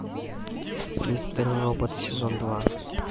мистер робот сезон два